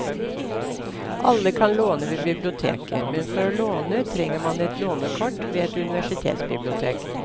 Alle kan låne ved biblioteket, men for å låne trenger man et lånekort ved et universitetsbibliotek.